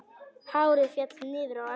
Hárið féll niður á axlir.